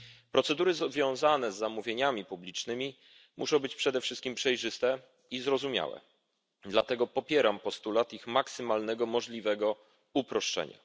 Procedury związane z zamówieniami publicznymi muszą być przede wszystkim przejrzyste i zrozumiałe, dlatego popieram postulat ich maksymalnego możliwego uproszczenia.